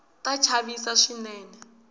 ta chavisa swinene